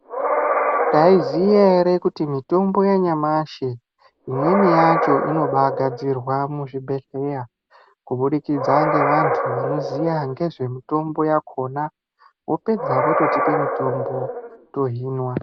Taiziya ere kuti mitombo yanyamashi imweni yacho inobagadzirwa muzvibhedhleya kubudikidza ngevantu vanoziya ngezvemitombo yakona vopedza vototipa mitombo yohinwa